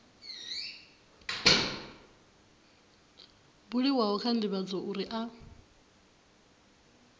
buliwaho kha ndivhadzo uri a